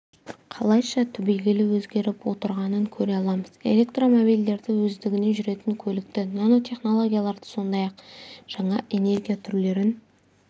қалайша түбегейлі өзгеріп отырғанын көре аламыз электромобильдерді өздігінен жүретін көлікті нанотехнологияларды сондай-ақ жаңа энергия түрлерін